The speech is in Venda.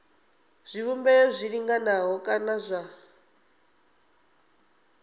zwivhumbeo zwi linganaho kana zwa